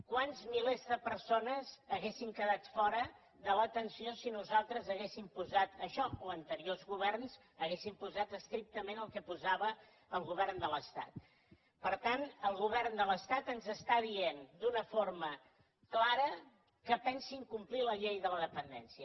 quants milers de persones haurien quedat fora de l’atenció si nosaltres haguéssim posat això o anteriors governs haguessin posat estrictament el que posava el govern de l’estat per tant el govern de l’estat ens diu d’una forma clara que pensa incomplir la llei de la dependència